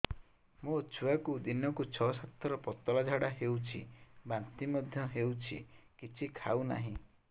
ମୋ ଛୁଆକୁ ଦିନକୁ ଛ ସାତ ଥର ପତଳା ଝାଡ଼ା ହେଉଛି ବାନ୍ତି ମଧ୍ୟ ହେଉଛି କିଛି ଖାଉ ନାହିଁ